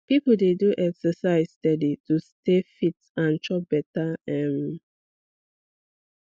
people dey do exercise steady to stay fit and chop better um